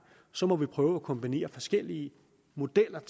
så må vi prøve at kombinere forskellige modeller